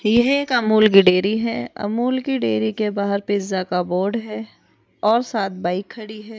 यह एक अमूल की डेयरी है अमूल की डेयरी के बाहर पिज़्ज़ा का बोर्ड है और सात बाइक खड़ी है।